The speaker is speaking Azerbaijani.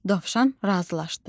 Dovşan razılaşdı.